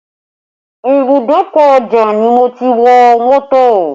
Ìbùdókọ̀ Ojota ni mo ti wọ mọ́tò